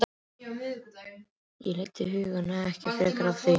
Ég leiddi hugann ekki frekar að því.